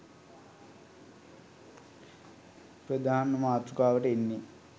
ප්‍රධාන මාතෘකාවට එන්නේ.